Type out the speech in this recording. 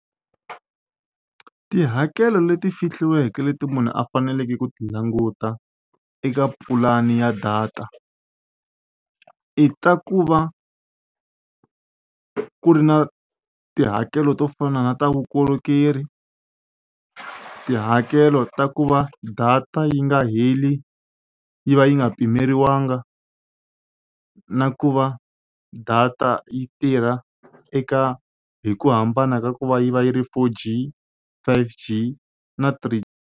Tihakelo leti fihliweke leti munhu a faneleke ku ti languta eka pulani ya data i ta ku va ku ri na tihakelo to fana na ta vukorhokeri tihakelo ta ku va data yi nga heli yi va yi nga pimeriwangi na ku va data yi tirha eka hi ku hambana ka ku va yi va yi ri four g, five g na three.